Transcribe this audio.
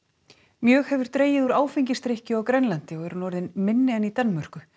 mjög hefur dregið úr áfengisdrykkju á Grænlandi og er hún orðin minni en í Danmörku